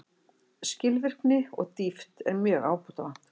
Skilvirkni og dýpt er mjög ábótavant